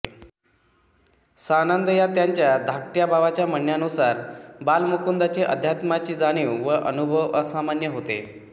सानंद या त्यांच्या धाकट्या भावाच्या म्हणण्यानुसार बाल मुकुंदाची अध्यात्माची जाणीव व अनुभव असामान्य होते